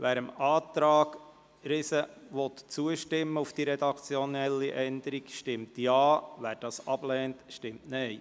Wer dem Antrag Riesen auf redaktionelle Änderung zustimmen will, stimmt Ja, wer dies ablehnt, stimmt Nein.